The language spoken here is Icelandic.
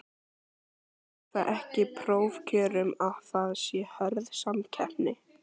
Fylgir það ekki prófkjörum að það sé hörð samkeppni?